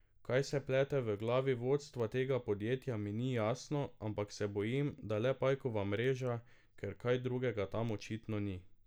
Kaj se plete v glavi vodstva tega podjetja mi ni jasno, ampak se bojim, da le pajkova mreža, ker kaj drugega tam očitno ni.